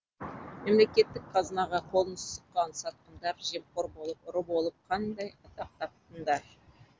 мемлекеттік қазынаға қолын сұққан сатқындар жемқор болып ұры болып қандай атақ таптыңдар